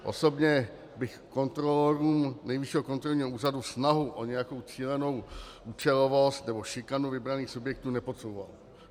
Osobně bych kontrolorům Nejvyššího kontrolního úřadu snahu o nějakou cílenou účelovost nebo šikanu vybraných subjektů nepodsouval.